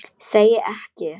Segi ég.